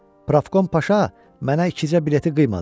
Pravkom Paşa mənə ikicə bileti qıymadı.